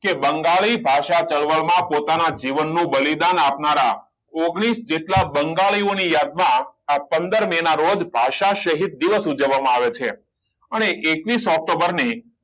કે બંગાળી ભાષા ના ચળવળ માં પોતાના જીવનનું બલિદાન આપનારા ઓગણીસ જેટલા બંગાળીઓની યાદ માં આ પંદર મેં ના રોજ ભાષા શહીદ દિવસ ઉજવવામાં આવે છે અને એકવીસ ઓક્ટોબર ને